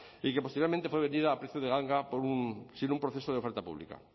y que posteriormente fue vendida a precio de ganga sin un proceso de oferta pública